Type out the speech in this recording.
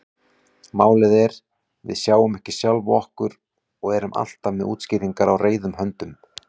Málið er: Við sjáum ekki sjálf okkur og erum alltaf með útskýringar á reiðum höndum.